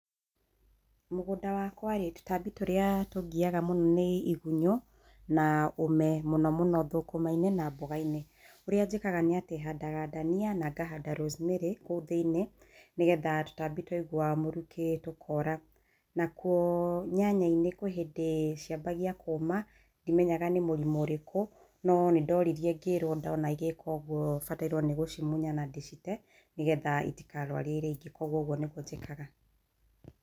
Mũgũnda wakwa rĩ, tũtambĩ tũrĩa tũngiaga mũno nĩ igunyũ, na ũme, mũno mũno thũkũma-inĩ na mboga-inĩ. Ũrĩa njĩkaga nĩ atĩ handaga ndania na ngahanda rosemary kũu thiiniĩ, nĩgetha tũtambi twaigua mũrukĩ tũkora. Nakuo nyanya-inĩ kwĩ hĩndĩ ciambagia kũũma, ndimenyaga nĩ mũrimũ ũrĩkũ, no nĩ ndoririe ngĩrwo ndona igĩka ũguo batairwo nĩ gũcimũnya na ndĩcite, nĩgetha itikarwarie iria ingĩ. Koguo ũguo nĩguo njĩkaga.